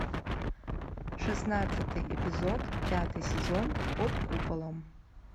шестнадцатый эпизод пятый сезон под куполом